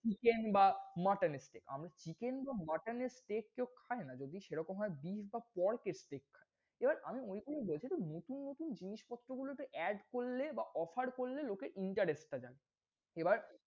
chicken বা mutton steak আমি chicken বা mutton steak কেও খাইনা। যদি সেরকম হয় beef বা pork steak খায়। এবার আমি মনে করি দেশে তো নতুন নতুন জিনিসপত্র গুলোতে add করলে বা offer লোকে interest টা জানে। এবার,